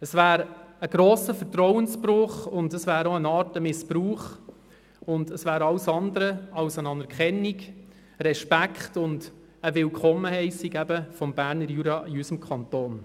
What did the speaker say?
Es wäre ein grosser Vertrauensbruch und auch eine Art Missbrauch und es wäre alles andere als eine Anerkennung, Respekt und ein Willkommen des Berner Juras in unserem Kanton.